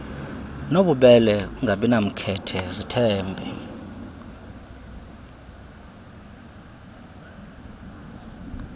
nobubele ungabinamkhethe zithembe